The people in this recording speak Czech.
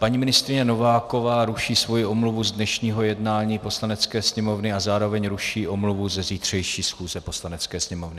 Paní ministryně Nováková ruší svoji omluvu z dnešního jednání Poslanecké sněmovny a zároveň ruší omluvu ze zítřejší schůze Poslanecké sněmovny.